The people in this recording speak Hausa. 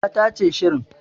Ya tace shirin